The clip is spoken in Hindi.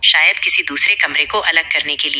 शायद किसी दूसरे कमरे को अलग करने के लिए--